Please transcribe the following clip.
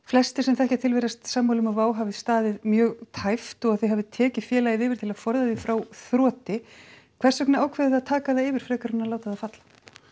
flestir sem þekkja til virðast sammála um að Wow hafi staðið mjög tæpt og að þið hafið tekið félagið yfir til að forða því frá þroti hvers vegna ákveðið þið að taka það yfir frekar en að láta það falla